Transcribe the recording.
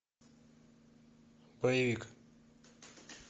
боевик